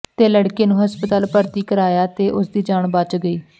ਤੇ ਲੜਕੇ ਨੂੰ ਹਸਪਤਾਲ ਭਰਤੀ ਕਰਾਇਆ ਤੇ ਉਸਦੀ ਜਾਨ ਬਚ ਗਈ